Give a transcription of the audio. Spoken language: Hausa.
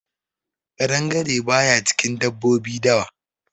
Ƙadangare baya cikin dabbobi dawa.